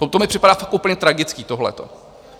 To mi připadá fakt úplně tragické, tohleto.